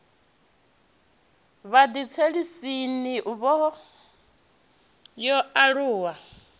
vhathetshelesi n ivho yo alaho